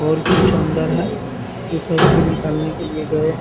और कुछ अंदर है जो पैसे निकालने के लिए गए हैं ।